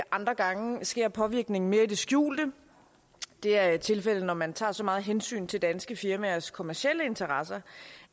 andre gange sker påvirkningen mere i det skjulte det er tilfældet når man tager så meget hensyn til danske firmaers kommercielle interesser